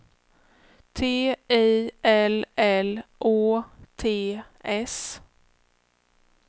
T I L L Å T S